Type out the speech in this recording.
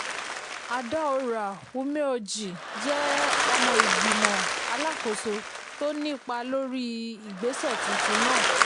adaora umeoji jẹ́ um ọmọ igbimọ̀ alákóso tó um nípa lórí um igbésẹ̀ tuntun náà.